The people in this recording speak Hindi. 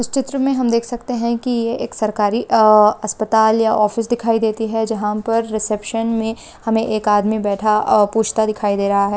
ईस चित्र में हम देख सकते हैं कि यह एक सरकारी आ आस्पाताल या ऑफिस दिखाई देती है जहां पर रिसेप्शन में हमें एक आदमी बैठा औ पूछता दिखाई दे रहा है।